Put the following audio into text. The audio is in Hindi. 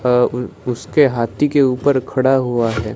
आअ ऊ उसके हाथी के ऊपर खड़ा हुआ है।